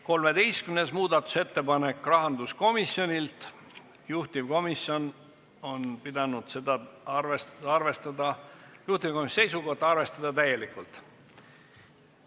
13. muudatusettepanek, rahanduskomisjonilt, juhtivkomisjoni seisukoht: arvestada täielikult.